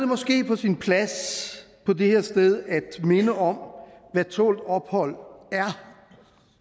måske på sin plads på det her sted at minde om hvad tålt ophold er